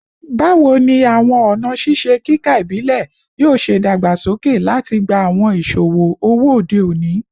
Bawo ni awọn ọna ṣiṣe kika ibile yoo ṣe dagbasoke lati gba awọn iṣowo owo ode oni?